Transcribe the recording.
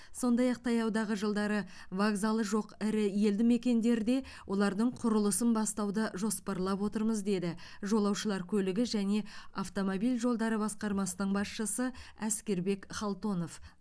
сондай ақ таяудағы жылдары вокзалы жоқ ірі елді мекендерде олардың құрылысын бастауды жоспарлап отырмыз деді жолаушылар көлігі және автомобиль жолдары басқармасының басшысы әскербек халтонов